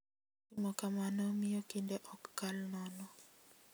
Timo kamano miyo kinde ok kal nono.